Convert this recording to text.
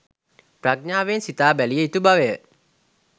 ප්‍රඥාවෙන් සිතා බැලිය යුතු බවය